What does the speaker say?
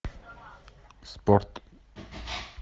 спорт